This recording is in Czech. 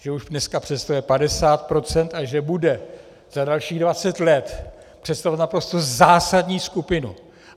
Že už dneska představuje 50 % a že bude za dalších 20 let představovat naprosto zásadní skupinu.